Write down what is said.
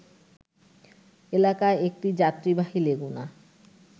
এলাকায় একটি যাত্রীবাহী লেগুনা